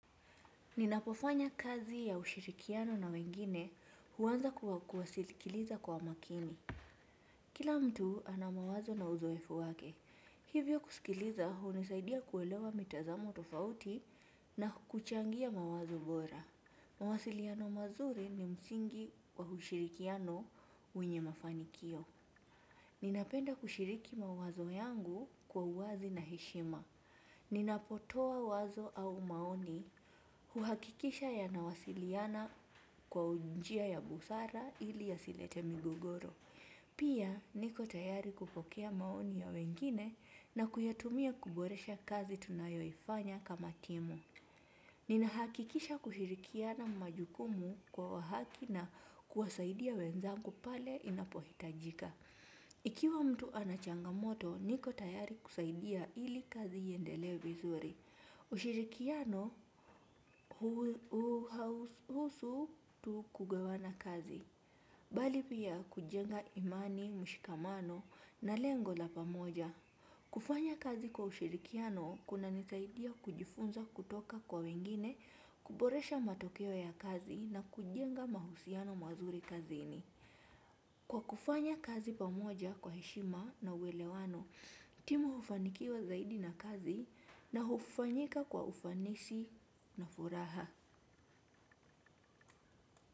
Ninapofanya kazi ya ushirikiano na wengine huanza kwa kuwasilikiliza kwa umakini. Kila mtu ana mawazo na uzoefu wake. Hivyo kusikiliza hunisaidia kuelewa mitazamo tofauti na kuchangia mawazo bora. Mawasiliano mazuri ni msingi wa ushirikiano wenye mafanikio. Ninapenda kushiriki mawazo yangu kwa uwazi na heshima. Ninapotoa wazo au maoni. Huhakikisha yanawasiliana kwa njia ya busara ili yasilete migogoro. Pia niko tayari kupokea maoni ya wengine na kuyatumia kuboresha kazi tunayoifanya kama timu. Ninahakikisha kushirikiana majukumu kwa wa haki na kuwasaidia wenzangu pale inapohitajika. Ikiwa mtu anachangamoto niko tayari kusaidia ili kazi iendelee vizuri. Ushirikiano hauhusu tu kugawana kazi. Bali pia kujenga imani, mshikamano na lengo la pamoja. Kufanya kazi kwa ushirikiano kunanisaidia kujifunza kutoka kwa wengine. Kuboresha matokeo ya kazi na kujenga mahusiano mazuri kazini. Kwa kufanya kazi pamoja kwa heshima na uelewano timu hufanikiwa zaidi na kazi na hufanyika kwa ufanisi na furaha.